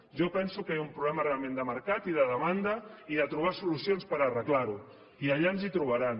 jo penso que hi ha un problema realment de mercat i de demanda i de trobar solucions per arreglar ho i allà ens hi trobaran